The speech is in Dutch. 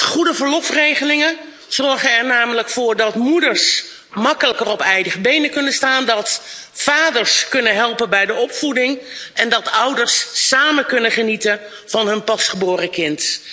Goede verlofregelingen zorgen er namelijk voor dat moeders makkelijker op eigen benen kunnen staan, dat vaders kunnen helpen bij de opvoeding en dat ouders samen kunnen genieten van hun pasgeboren kind.